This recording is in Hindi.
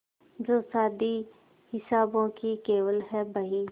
जो शादी हिसाबों की केवल है बही